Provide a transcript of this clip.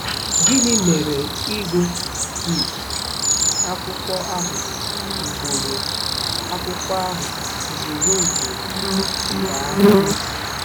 Gịnị mere ịgụ um akwụkwọ ahụ ugboro akwụkwọ ahụ ugboro ugboro ji baa uru?